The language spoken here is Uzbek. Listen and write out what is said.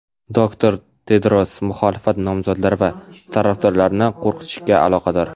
doktor Tedros muxolifat nomzodlari va tarafdorlarini qo‘rqitishga aloqador.